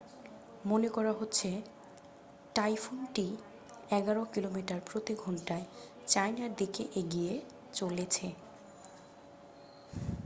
মনে করা হচ্ছে টাইফুনটি এগারো কিলোমিটার প্রতি ঘণ্টায় চায়নার দিকে এগিয়ে চলেছে